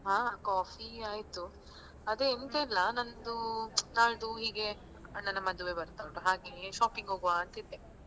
ಹ Coffee ಆಯ್ತು ಅದೇ ಎಂತ ಇಲ್ಲ ನಂದು ನಾಳ್ದು ಹೀಗೆ ಅಣ್ಣನ ಮದುವೆ ಬರ್ತಾ ಉಂಟು ಹಾಗೆ shopping ಹೋಗುವಾ ಅಂತಿದ್ದೆ.